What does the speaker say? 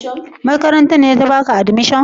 Makarantar ce ta baka admission?